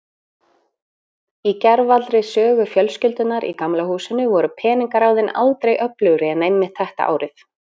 Í gervallri sögu fjölskyldunnar í Gamla húsinu voru peningaráðin aldrei öflugri en einmitt þetta árið.